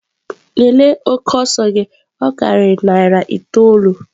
Lelee oke ọsọ gị ọ karịrị narị itoolu!.